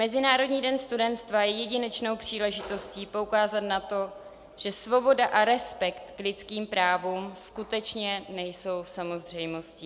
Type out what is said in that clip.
Mezinárodní den studentstva je jedinečnou příležitostí poukázat na to, že svoboda a respekt k lidským právům skutečně nejsou samozřejmostí."